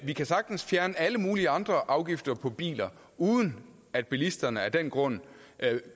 vi kan sagtens fjerne alle mulige andre afgifter på biler uden at bilisterne af den grund